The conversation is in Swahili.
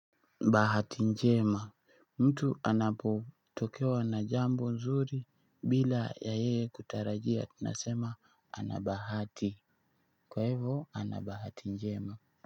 Bahati njema, mtu anapotokewa na jambo nzuri bila ya yeye kutarajia tunasema ana bahati, kwa hivo ana bahati njema.